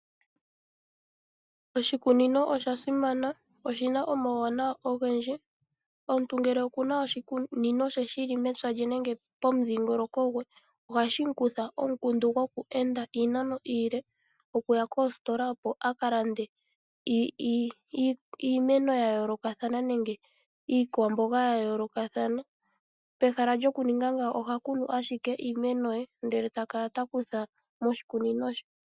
Oshikunino osha simana. Oshi na omauwanawa ogendji. Omuntu ngele oku n aoshikunino she shi li mepya lye nenge pomudhingoloko gwe ohashi mu kutha omukundu goku enda iinano iile okuya kosikola opo a ka lande iimeno nenge iikwamboga ya yoolokathana. Pehala lyokuninga ngaaka oha kunu ashike iimeno ye, ndele ta kala ta kutha moshikunino she.